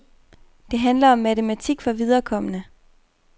Det handler om matematik for viderekomne.